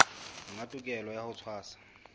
monga tokelo ya ho tshwasa